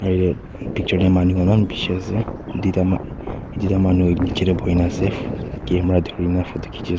picture de manu khan eman bishi ase duita ma duita manu nichey de buhi na ase ph camera duri na photo khichi ase.